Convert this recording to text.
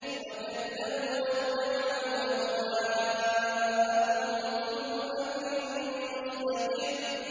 وَكَذَّبُوا وَاتَّبَعُوا أَهْوَاءَهُمْ ۚ وَكُلُّ أَمْرٍ مُّسْتَقِرٌّ